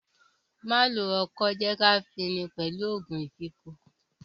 Má lo ọkọ́, jẹ́ kí a fin ni pẹ̀lú òògun ìfínko!